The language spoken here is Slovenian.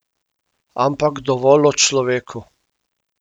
Ampak dovolj o človeku!